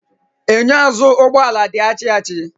Enyo azụụ ụgbọ ala di achi achi.